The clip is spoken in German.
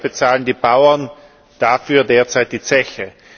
Leider bezahlen die Bauern dafür derzeit die Zeche.